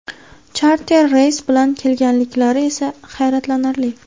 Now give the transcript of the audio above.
Charter reys bilan kelganliklari esa hayratlanarli.